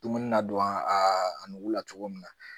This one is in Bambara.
Dumuni na don a nugula cogo min na